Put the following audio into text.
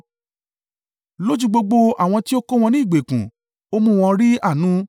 Lójú gbogbo àwọn tí ó kó wọn ní ìgbèkùn ó mú wọn rí àánú.